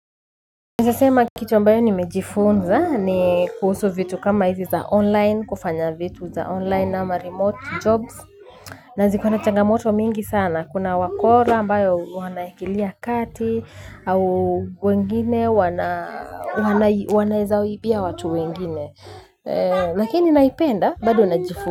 Naeza sema kitu ambayo nimejifunza ni kuhusu vitu kama hizi za online kufanya vitu za online ama remote jobs. Na ziko na changamoto mingi sana kuna wakora ambayo wanaingilia kati au wengine wanaeza ibia watu wengine. Lakini naipenda bado najifunza.